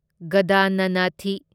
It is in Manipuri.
ꯒꯗꯅꯅꯊꯤ